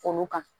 Olu kan